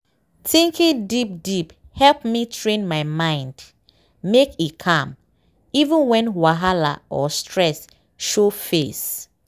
thinking deep deepe help me train my mind make e calm even when whahala or stress show face.